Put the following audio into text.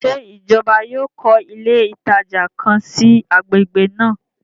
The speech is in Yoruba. Ṣe ìjọba yóò kọ ilé ìtajà kàn sí i agbègbè náà?